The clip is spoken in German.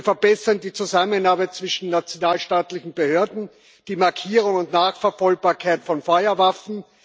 Wir verbessern die Zusammenarbeit zwischen nationalstaatlichen Behörden und die Markierung und Nachverfolgbarkeit von Feuerwaffen.